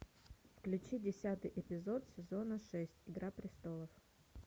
включи десятый эпизод сезона шесть игра престолов